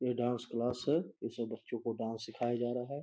ये dance class है इसमें बच्चों को डांस सिखाया जा रहा है।